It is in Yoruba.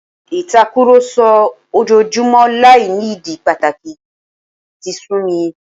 Ìtàkùrọ̀sọ ojoojúmọ́ láì ní ìdí pàtàkì yìí ti sú mi